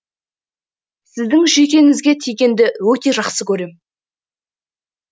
сіздің жүйкеңізге тигенді өте жақсы көрем